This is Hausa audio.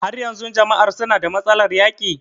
Har yanzun jama'an suna da matsalar yaƙi?